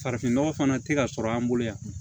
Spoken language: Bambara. Farafinnɔgɔ fana tɛ ka sɔrɔ an bolo yan